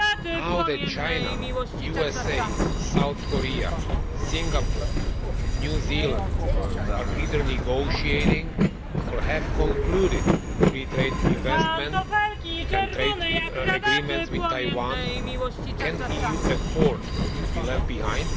Now that China, the USA, South Korea, Singapore and New Zealand are either negotiating, or have concluded, free trade investment and trade agreements with Taiwan, can the EU afford to be left behind?